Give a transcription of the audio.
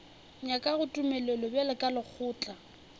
nyakago tumelelo bjalo ka lekgotla